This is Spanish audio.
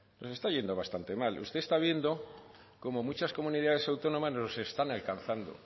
nos está yendo bastante mal usted está viendo como muchas comunidades autónomas nos están alcanzando